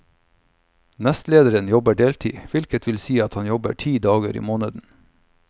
Nestlederen jobber deltid, hvilket vil si at han jobber ti dager i måneden.